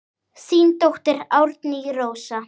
Þín dóttir Árný Rósa.